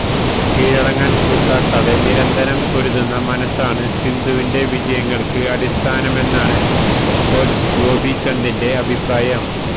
കീഴടങ്ങാന് കൂട്ടാകാതെ നിരന്തരം പൊരുതുന്ന മനസ്സാണ് സിന്ധുവിന്റെ വിജയങ്ങള്ക്ക് അടിസ്ഥാനമെന്നാണ് കോച്ച് ഗോപീചന്ദിന്റെ അഭിപ്രായം